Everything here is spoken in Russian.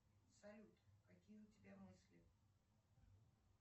салют какие у тебя мысли